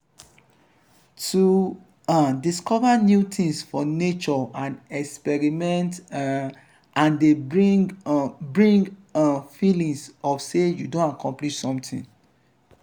to um discover new things for nature and experiment um am de bring um bring um feeling of say you don accomplish something